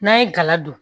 N'an ye gala don